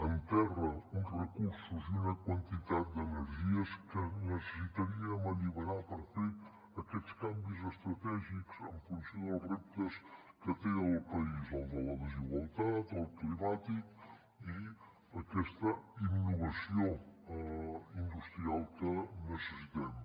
enterra uns recursos i una quantitat d’energies que necessitaríem alliberar per fer aquests canvis estratègics en funció dels reptes que té el país el de la desigualtat el climàtic i aquesta innovació industrial que necessitem